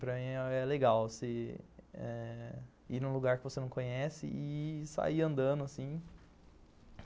Para mim é legal você eh ir num lugar que você não conhece e sair andando, assim.